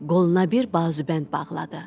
Qoluna bir bazubənd bağladı.